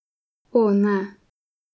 O, ne.